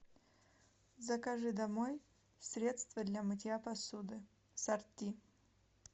закажи домой средство для мытья посуды сорти